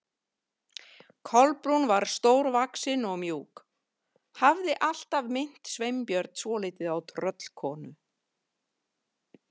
Kolbrún var stórvaxin og mjúk, hafði alltaf minnt Sveinbjörn svolítið á tröllkonu.